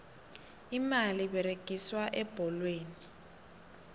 imali eberegiswa ebholweni